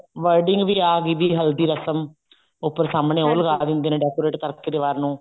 wording ਵੀ ਆਹ ਵੀ ਹਲਦੀ ਰਸਮ ਉੱਪਰ ਸਾਮਣੇ ਉਹ ਲਗਾ ਦਿੰਦੇ ਨੇ decorate ਕਰਕੇ ਦੀਵਾਰ ਨੂੰ